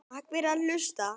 Takk fyrir að hlusta.